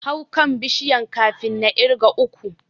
Hau kan Bishiyar kafin na ƙirga uku.